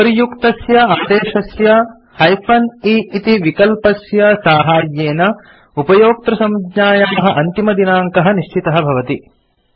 उपर्युक्तस्य आदेशस्य -e इति विकल्पस्य साहाय्येन उपयोक्तृसञ्ज्ञायाः अन्तिमदिनाङ्कः निश्चितः भवति